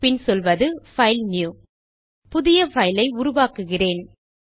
பின் சொல்வது பைல்னியூ புதிய பைல் ஐ உருவாக்குகிறேன்